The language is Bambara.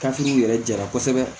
yɛrɛ ja kosɛbɛ